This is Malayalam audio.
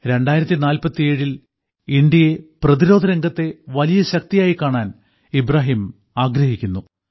2047 ൽ ഇന്ത്യയെ പ്രതിരോധരംഗത്തെ വലിയ ശക്തിയായി കാണാൻ ഇബ്രാഹിം ആഗ്രഹിക്കുന്നു